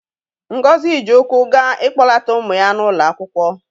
Ngozi ji ụkwụ gaa ịkpọlata ụmụ ya n'ụlọ akwụkwọ.